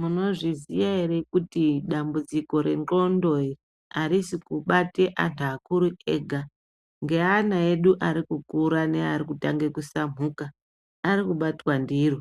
Munozviziya here kuti ndambudziko rendxondo harisi kubate antu akuru ega. Ngeana edu arikukura ngevanotange kusabhuka, arikubatwa ndiro.